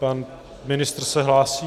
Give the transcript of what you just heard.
Pan ministr se hlásí.